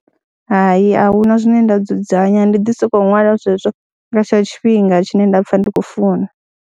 Hai, a hu na zwine nda dzudzanya ndi ḓi sokou ṅwala zwezwo nga tshetsho tshifhinga tshine nda pfha ndi khou funa.